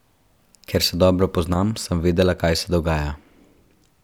Ker se dobro poznam, sem vedela, kaj se dogaja.